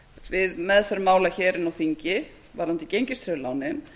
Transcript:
við meðferð mála hér inni á þingi varðandi gengistryggðu lánin